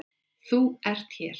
ÞÚ ERT hér.